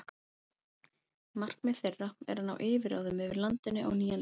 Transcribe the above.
Markmið þeirra er að ná yfirráðum yfir landinu á nýjan leik.